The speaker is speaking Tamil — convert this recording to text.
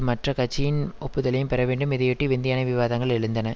மற்ற கட்சியின் ஒப்புதலையும் பெற வேண்டும் இதையொட்டி விந்தையான விவாதங்கள் எழுந்தன